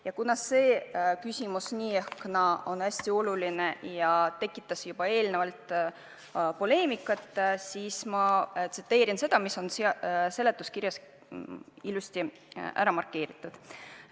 Ja kuna see küsimus nii või teisiti on hästi oluline ja tekitas juba eelnevalt poleemikat, siis ma tsiteerin seda, mis on seletuskirjas ilusti ära markeeritud.